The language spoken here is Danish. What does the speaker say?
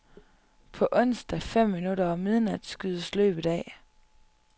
På onsdag, fem minutter over midnat, skydes løbet af.